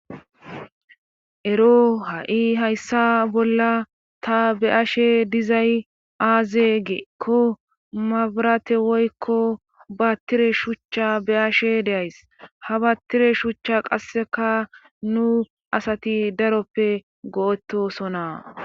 ero ha7i hayssa bolla ta be ashe dizay aaze geekko mabarate woykko baattire shuchcha be ashe deays ha baattire shuchcha qasseka nu asati daroppe go7etosona